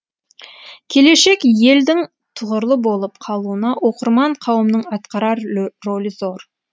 келешек елдің тұғырлы болып қалуына оқырман қауымның атқарар рөлі зор